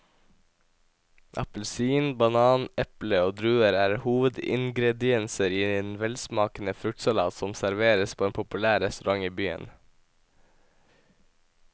Appelsin, banan, eple og druer er hovedingredienser i en velsmakende fruktsalat som serveres på en populær restaurant i byen.